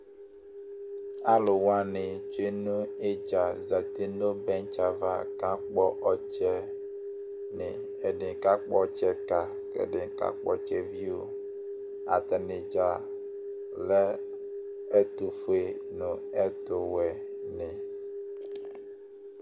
Aluwani tsue nu idza zati nu bɛtsi ava ka kɔ ɔtsɛ ɛdini kakpɔ ɔtsɛ ka kɛdini m kakpɔ ɔtsɛ vio atani dza lɛ ɛtufue nu ɛtu wuɛ ni